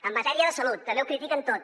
en matèria de salut també ho critiquen tot